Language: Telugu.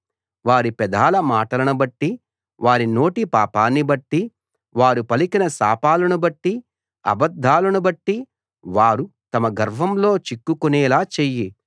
వారి పెదాల మాటలను బట్టి వారి నోటి పాపాన్ని బట్టి వారు పలికిన శాపాలను బట్టి అబద్ధాలను బట్టి వారు తమ గర్వంలో చిక్కుకునేలా చెయ్యి